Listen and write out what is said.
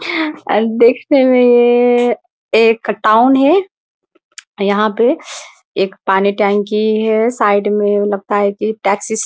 और देखने मे ये एक टाउन है । यहाँ पे एक पानी टंकी है साइड में लगता है की टैक्सी --